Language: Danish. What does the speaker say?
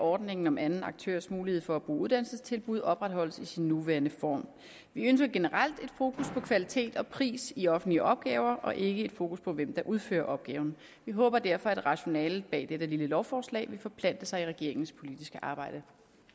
at ordningen om anden aktørs mulighed for at bruge uddannelsestilbud opretholdes i sin nuværende form vi ønsker generelt et fokus på kvalitet og pris i offentlige opgaver og ikke et fokus på hvem der udfører opgaven vi håber derfor at rationalet bag dette lille lovforslag vil forplante sig i regeringens politiske arbejde